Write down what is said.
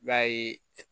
I b'a ye